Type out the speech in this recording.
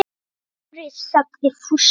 Dóri! sagði Fúsi.